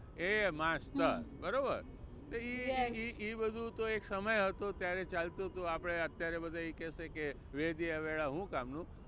એ master બરોબર. એ એ બધું તો એક સમય હતો ત્યારે ચાલતું હતું આપણે અત્યારે બધા એ કહેશે કે વેદિયા વેડા શું કામ નું.